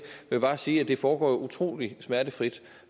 vil bare sige at det foregår utrolig smertefrit